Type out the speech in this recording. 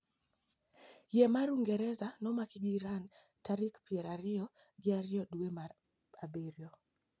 Yie mar uingereza nomaki gi Iran tarik piero ariyo gi ariyo dwe mar abirio.